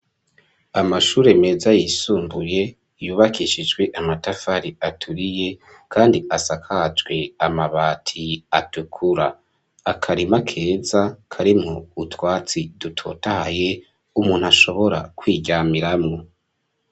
Amashure meza yisumbuye yubakishijwe amatafari aturiye kandi asakajwe amabati atukura, akarima keza karimwo utwatsi dutotahaye umuntu ashobora kwiryamiramwo.